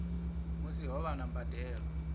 musi ho vha na mbadelo